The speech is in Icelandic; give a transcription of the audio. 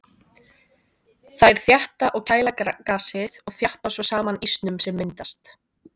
Þær þétta og kæla gasið og þjappa svo saman ísnum sem myndast.